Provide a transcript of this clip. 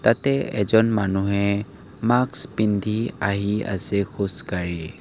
তাতে এজন মানুহে মাস্ক পিন্ধি আহি আছে খোজকাঢ়ি।